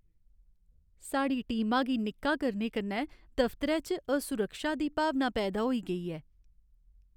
साढ़ी टीमा गी निक्का करने कन्नै दफतरै च असुरक्षा दी भावना पैदा होई गेई ऐ।